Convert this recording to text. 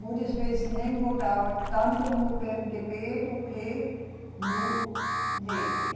Muitas vezes nem votava tanto no PêeMeDêBê do que no, nele, né.